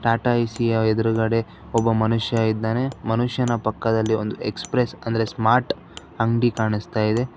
Tata A C ಯ ಎದ್ರುಗಡೆ ಒಬ್ಬ ಮನುಷ್ಯ ಇದ್ದಾನೆ ಮನುಷ್ಯನ ಪಕ್ಕದಲ್ಲಿ ಒಂದು ಎಕ್ಸ್ಪ್ರೆಸ್ ಅಂದ್ರೆ ಸ್ಮಾರ್ಟ್ ಅಂಗ್ಡಿ ಕಾಣುಸ್ತಾ ಇದೆ.